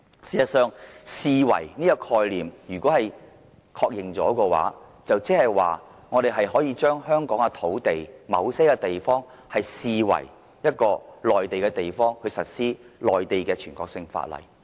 事實上，如果確認了"視為"這個概念的話，即代表我們可以把香港某些土地視為一個內地的地方，實施內地的全國性法律。